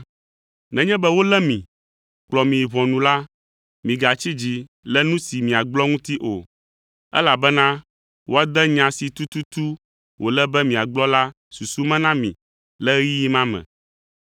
“Nenye be wolé mi, kplɔ mi yi ʋɔnu la, migatsi dzi le nu si miagblɔ ŋuti o, elabena woade nya si tututu wòle be miagblɔ la susu me na mi le ɣeyiɣi ma me.